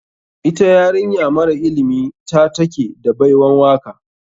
Ita yarinya mara ilimi ta take da baiwan waka.